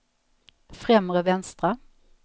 främre vänstra